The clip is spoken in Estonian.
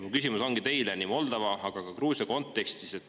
Mu küsimus teile ongi nii Moldova kui ka Gruusia kontekstis.